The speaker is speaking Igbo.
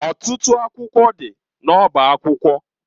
Ọtụtụ akwụkwọ dị n'ọba akwụkwọ.